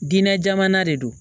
Diinɛ jamana de don